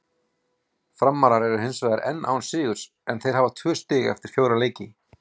Framarar eru hinsvegar enn án sigurs en þeir hafa tvö stig eftir fjóra leiki.